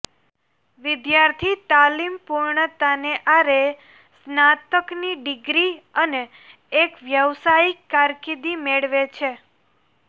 વિદ્યાર્થી તાલીમ પૂર્ણતાને આરે સ્નાતકની ડિગ્રી અને એક વ્યાવસાયિક કારકિર્દી મેળવે છે